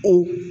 O